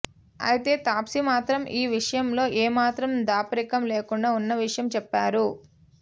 అయితే తాప్సీ మాత్రం ఈ విషయంలో ఏమాత్రం దాపరికం లేకుండా ఉన్న విషయం చెప్పారు